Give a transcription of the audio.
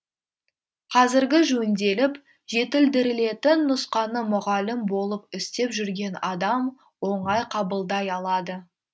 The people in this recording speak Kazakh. қазіргі жөнделіп жетілдірілетін нұсқаны мұғалім болып істеп жүрген адам оңай қабылдай алады